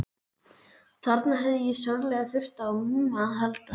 Þarna hefði ég sárlega þurft á Mumma að halda, en